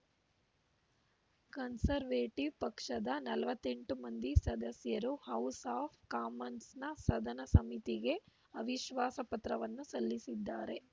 Conservative ಪಕ್ಷದ ನಲವತ್ತೆಂಟು ಮಂದಿ ಸದಸ್ಯರು ಹೌಸ್‌ ಆಫ್‌ ಕಾಮನ್ಸ್‌ನ ಸದನ ಸಮಿತಿಗೆ ಅವಿಶ್ವಾಸ ಪತ್ರವನ್ನು ಸಲ್ಲಿಸಿದ್ದಾರೆ